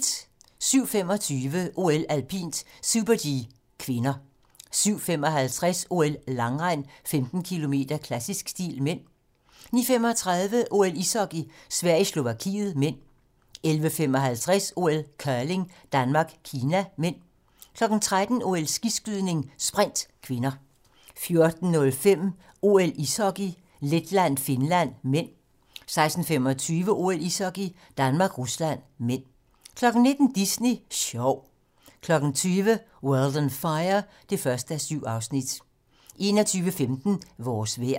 07:25: OL: Alpint - Super-G (k) 07:55: OL: Langrend - 15 km, klassisk stil (m) 09:35: OL: Ishockey - Sverige-Slovakiet (m) 11:55: OL: Curling - Danmark-Kina (m) 13:00: OL: Skiskydning - sprint (k) 14:05: OL: Ishockey - Letland-Finland (m) 16:25: OL: Ishockey - Danmark-Rusland (m) 19:00: Disney Sjov 20:00: World on Fire (1:7) 21:15: Vores vejr